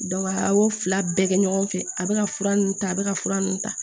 a y'o fila bɛɛ kɛ ɲɔgɔn fɛ a bɛ ka fura ninnu ta a bɛ ka fura ninnu ta